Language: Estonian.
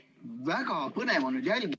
Väga põnev on jälgida ...